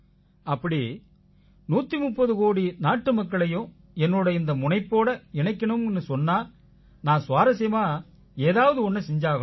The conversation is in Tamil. அப்படி 130 கோடி நாட்டுமக்களையும் என்னோட இந்த முனைப்போட இணைக்கணும்னு சொன்னா நான் சுவாரசியமான ஒண்ணை செஞ்சாகணும்